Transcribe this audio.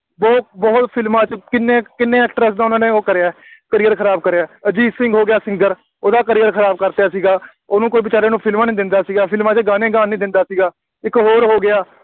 ਬਹੁਤ ਬਹੁਤ ਫਿਲਮਾਂ ਵਿੱਚ ਕਿੰਨੇ ਕਿੰਨੇ actress ਦਾ ਉਹਨਾ ਨੇ ਉਹ ਕਰਿਆ, career ਖਰਾਬ ਕਰਿਆ, ਅਜੀਤ ਸਿੰਘ ਹੋ ਗਿਆ singer ਉਹਦਾ career ਖਰਾਬ ਕਰ ਦਿੱਤਾ ਸੀਗਾ, ਉਹਨੂੰ ਕੋਈ ਬੇਚਾਰੇ ਨੂੰ ਫਿਲਮਾਂ ਨਹੀਂ ਦਿੰਦਾ ਸੀਗਾ, ਫਿਲਮਾਂ 'ਚ ਗਾਣੇ ਗਾਣ ਨਹੀਂ ਦਿੰਦਾ ਸੀਗਾ। ਇੱਕ ਹੋਰ ਹੋ ਗਿਆ